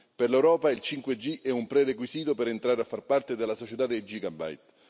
Per l'Europa il 5G è un prerequisito per entrare a far parte della società dei Gigabyte.